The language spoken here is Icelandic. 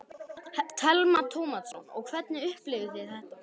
Telma Tómasson: Og hvernig upplifðuð þið þetta?